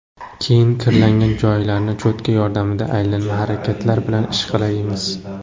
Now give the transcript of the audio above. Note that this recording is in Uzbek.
Keyin kirlangan joylarni cho‘tka yordamida aylanma harakatlar bilan ishqalaymiz.